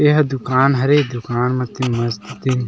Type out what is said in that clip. यह दुकान हरे दुकान म तीन मस्त तीन --